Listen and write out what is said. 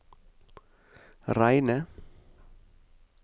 reine